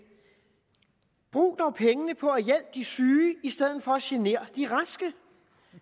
brug dog pengene på at hjælpe de syge i stedet for at genere de raske